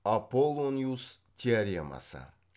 аполлониус теоремасы